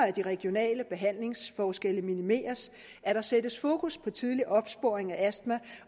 at de regionale behandlingsforskelle minimeres at der sættes fokus på tidlig opsporing af astma